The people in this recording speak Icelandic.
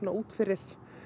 út fyrir